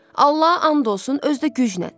Allaha and olsun, özü də güclə.